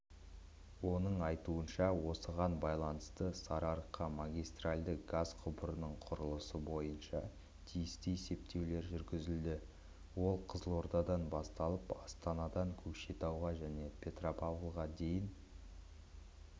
оның айтуынша осыған байланысты сарыарқа магистральды газ құбырының құрылысы бойынша тиісті есептеулер жүргізілді ол қызылордадан басталып астанадан көкшетауға және петропавлға дейін